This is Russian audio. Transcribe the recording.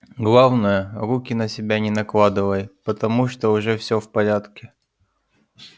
главное руки на себя не накладывай потому что уже всё в порядке